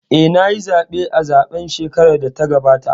Eh, nayi zaɓe a zaɓen shekarar da ta gabata